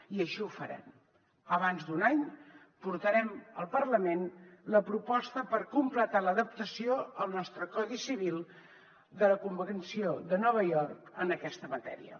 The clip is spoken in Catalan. i així ho farem abans d’un any portarem al parlament la proposta per completar l’adaptació al nostre codi civil de la convenció de nova york en aquesta matèria